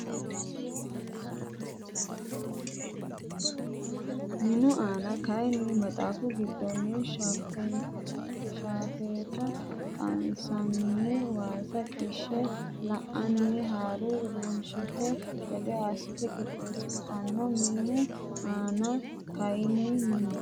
Minu ama kayinni maxaafu giddonni shaafeeta qansanni waasa qishshe la anni ha runsitanno gede assinsa qixxeessidhanno Minu ama kayinni Minu.